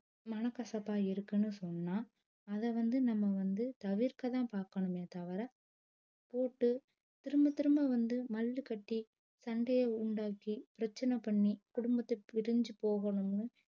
மனக்கசப்பா இருக்குன்னு சொன்னா அத வந்து நம்ப வந்து தவிர்க்க தான் பாக்கணுமே தவற போட்டு திரும்ப திரும்ப வந்து மல்லு கட்டி சண்டைய உண்டாக்கி பிரச்சன பண்ணி குடும்பத்த பிரிஞ்சு போகணும்னு